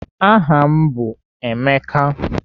Aha m bụ Emeka.